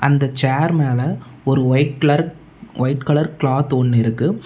இந்த சேர் மேல ஒரு white colour white colour cloth ஒன்னு இருக்கு.